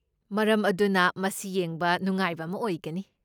ꯃꯔꯝ ꯑꯗꯨꯅ ꯃꯁꯤ ꯌꯦꯡꯕ ꯅꯨꯡꯉꯥꯏꯕ ꯑꯃ ꯑꯣꯏꯒꯅꯤ꯫